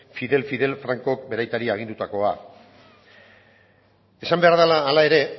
fidel fidel francok bere aitari agindutakoa esan behar dela hala ere